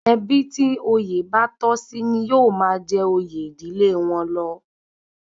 Ẹbí tí òye bá tọ́ sí ní yóó máa jẹ oyè ìdílé wọn lọ